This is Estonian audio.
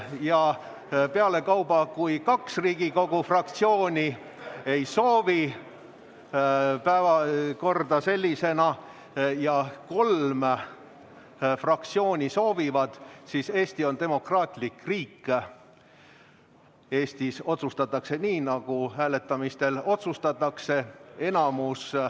Ja pealekauba, kui kaks Riigikogu fraktsiooni ei soovi päevakorda sellisena ja kolm fraktsiooni soovivad, siis Eesti on demokraatlik riik, Eestis otsustatakse nii, nagu hääletamistel otsustatakse.